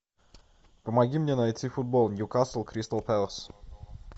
помоги мне найти футбол ньюкасл кристал пэлас